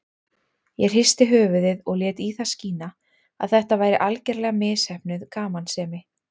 Ég hristi höfuðið og lét í það skína að þetta væri algerlega misheppnuð gamansemi.